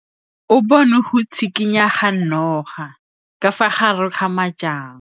O bone go tshikinya ga noga ka fa gare ga majang.